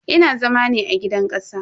Ina zama ne a gidan kasa.